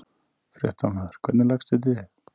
Fréttamaður: Hvernig leggst þetta í þig?